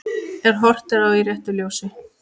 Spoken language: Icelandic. Ef horft er á í réttu ljósi.